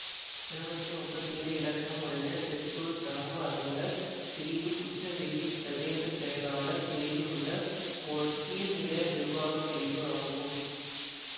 இருநூத்தி முப்பத்தி ஏழு இலக்கம் உடைய செந்தூர் கிராம அலுவலர் பிரிவு குச்சவெளி பிரதேச செயலாளர் பிரிவில் உள்ள ஓர் கீழ்நிலை நிர்வாக பிரிவு ஆகும்